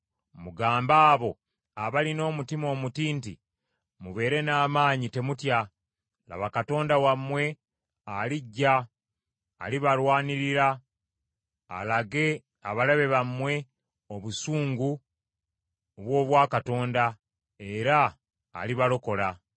Mugambe abo abalina omutima omuti nti, Mubeere n’amaanyi temutya: laba Katonda wammwe alijja; alibalwanirira, alage abalabe bammwe obusungu obw’Obwakatonda, era alibalokola.